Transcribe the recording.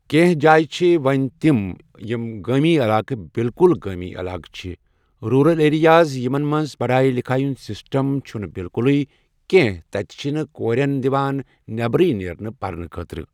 کٮ۪نٛہہ جایہِ چھِ وۄنۍ تِم یِم گٲمی علاقہٕ بالکُل گٲمی علاقہٕ چھِ، رُورل ایریاز یِمن منٛز پڑایہِ لِکھایہِ ہُنٛد سِسٹم چھُ نہٕ بِالکلٕے کِہیٖنہٕ تَتہِ چھِ نہٕ کورٮ۪ن دِوان نٮ۪بر نیرنے پَرنہٕ خٲطرٕ۔